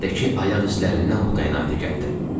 Yerdəki ayaq islərdindən bu qənaətə gəldim.